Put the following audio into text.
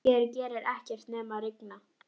Hér gerir ekkert nema rigna.